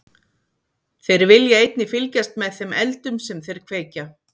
Þeir vilja einnig fylgjast með þeim eldum sem þeir kveikja.